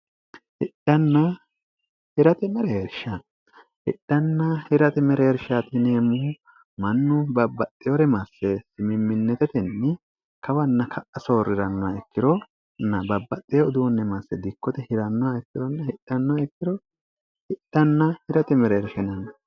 hidhanna hirate mereersha hidhanna hirate mereersha tineemmuhu mannu babbaxxeore masse simimminitetenni kawanna ka'a soorrirannoha ikkironna babbaxxee uduunni masse dikkote hirannoha ikkironna hinnoikkirohidhanna hirate mereershenanno